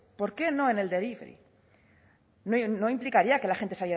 por qué no en el delivery no implicaría que la gente